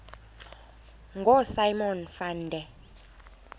ngosimon van der